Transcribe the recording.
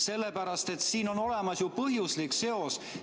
Sellepärast, et siin on olemas ju põhjuslik seos.